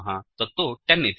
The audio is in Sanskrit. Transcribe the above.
तत्तु 10 इति